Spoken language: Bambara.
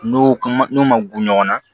N'o ma n'o ma gun ɲɔgɔn na